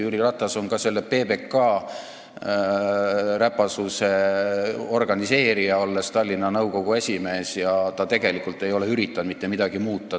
Jüri Ratas on ka selle PBK räpasuse organiseerija, olles Tallinna nõukogu esimees, ja tegelikult ta ei ole üritanud mitte midagi muuta.